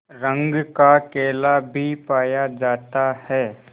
रंग का केला भी पाया जाता है